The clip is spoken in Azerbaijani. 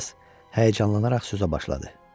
O biraz həyəcanlanaraq sözə başladı.